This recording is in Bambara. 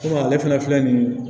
ale fana filɛ nin ye